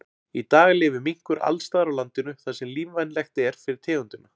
Í dag lifir minkur alls staðar á landinu þar sem lífvænlegt er fyrir tegundina.